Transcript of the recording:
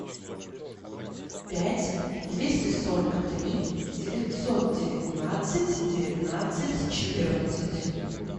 пять двести сорок три девятьсот девятнадцать девятнадцать четырнадцать